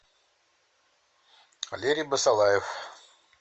валерий басалаев